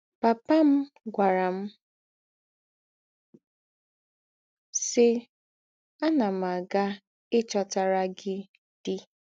” Pàpà m gwàrà m, sì: “ Ánà m ága íchòtàrà gị dì. ”